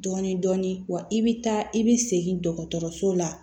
Dɔɔnin dɔɔnin wa i bɛ taa i bɛ segin dɔgɔtɔrɔso la